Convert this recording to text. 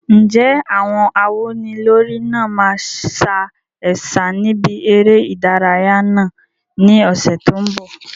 Ǹjẹ́ àwọn awúnilórí náà máa sa ẹ̀sà níbi eré ìdárayá náà ní ọ̀sẹ̀ tó ń bọ̀?